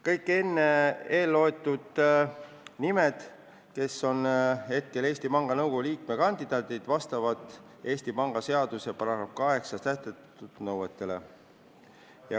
Kõik enne nimetatud inimesed, kes on praegu Eesti Panga Nõukogu liikme kandidaadid, vastavad Eesti Panga seaduse §-s 8 sätestatud nõuetele.